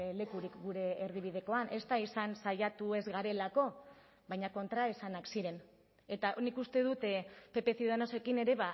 lekurik gure erdibidekoan ez da izan saiatu ez garelako baina kontraesanak ziren eta nik uste dut pp ciudadanosekin ere